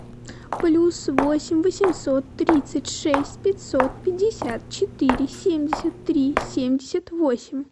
плюс восемь восемьсот тридцать шесть пятьсот пятьдесят четыре семьдесят три семьдесят восемь